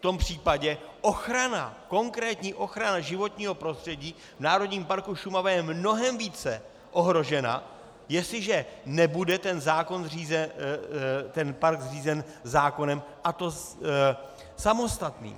V tom případě ochrana, konkrétní ochrana životního prostředí v Národním parku Šumava je mnohem více ohrožena, jestliže nebude ten park řízen zákonem, a to samostatným.